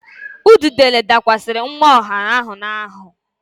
Ududele dakwasịrị nwa ọhụụ ahụ n'ahụ.